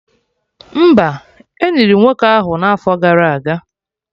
Mba, Eniri nwoke ahụ n'afọ gara aga